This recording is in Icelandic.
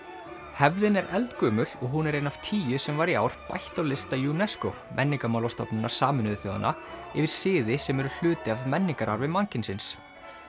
hefðin er eldgömul og hún er ein af tíu sem var í ár bætt á lista UNESCO Menningarmálastofnunar Sameinuðu þjóðanna yfir siði sem eru hluti af menningararfi mannkynsins